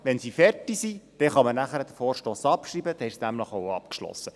Wenn sie fertig sind, kann man den Vorstoss abschreiben, dann ist es auch abgeschlossen.